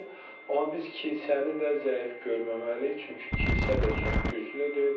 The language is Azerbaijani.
Amma biz kilsəni də zəif görməməliyik, çünki kilsə də çox güclüdür.